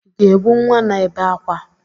Ị ga-ebu nwa na-ebe ákwá?